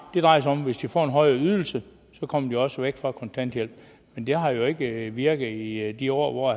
drejer sig om at hvis de får en højere ydelse kommer de også væk fra kontanthjælp men det har jo ikke virket i de år hvor